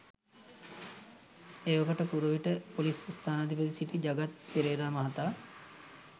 එවකට කුරුවිට ‍පොලිස් ස්ථානාධිපතිව සිටි ජගත් පෙරේරා මහතා